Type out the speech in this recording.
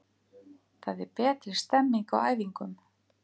Það er betri stemming á æfingum.